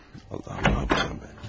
Allahım, Allahım mənim.